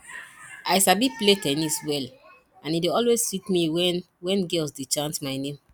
i sabi play ten nis well and e dey always sweet me wen wen girls dey chant my name